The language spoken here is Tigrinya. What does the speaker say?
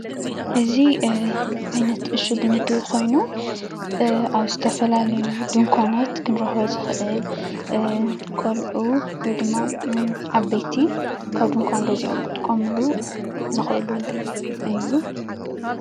እዚ ዓይነት እሹግ ምግቢ ኮይኑ ኣብ ዝተፈላለዩ ድንኳናት ክንረኽቦ ዝኽእል ቆልዑ ወይ ድማ ዓበይቲ ካብ ድንኳን ገዚኦም ክጥቀምሉ ዝኽእሉ እዩ።